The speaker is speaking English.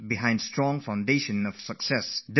A strong foundation comes from discipline